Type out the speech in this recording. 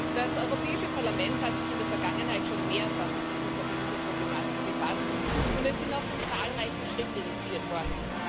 Das Europäische Parlament hat sich in der Vergangenheit schon mehrfach mit dieser Problematik befasst, und es sind auch schon zahlreiche Schritte initiiert worden.